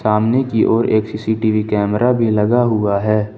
सामने की ओर एक सी_सी_टी_वी कैमरा भी लगा हुआ है।